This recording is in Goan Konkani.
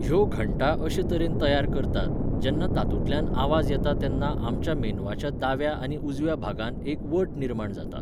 ह्यो घंटा अशे तरेन तयार करतात, जेन्ना तातूंतल्यान आवाज येता तेन्ना आमच्या मेंदवाच्या दाव्या आनी उजव्या भागांत एक वट निर्माण जाता.